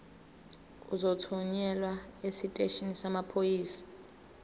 uzothunyelwa esiteshini samaphoyisa